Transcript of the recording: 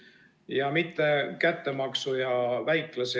Ja mitte kättemaksu ja väiklase ...